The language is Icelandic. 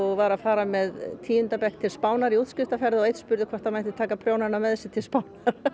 var að fara með tíunda bekk til Spánar í útskriftarferð og einn spurði hvort hann mætti taka prjónana með sér til Spánar